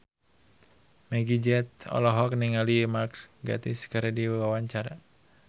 Meggie Z olohok ningali Mark Gatiss keur diwawancara